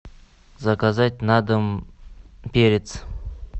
заказать на дом перец